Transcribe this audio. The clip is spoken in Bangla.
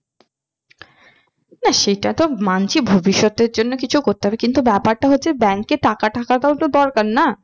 না সেটা তো মানছি ভবিষৎ এর জন্য কিছু করতে হবে কিন্তু ব্যাপারটা হচ্ছে bank এ টাকা থাকাটাও তো দরকার না